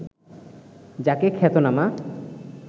যাকে খ্যাতনামা